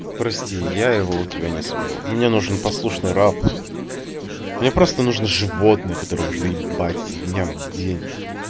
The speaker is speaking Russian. прости я его у тебя не соберу мне нужен послушный раб мне просто нужно животное которое можно ебать из-за дня в день